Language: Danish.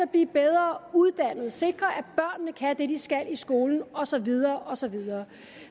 at blive bedre uddannet sikre at børnene kan det de skal i skolen og så videre og så videre